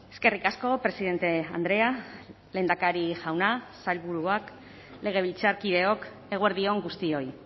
eskerrik asko presidente andrea lehendakari jauna sailburuak legebiltzarkideok eguerdi on guztioi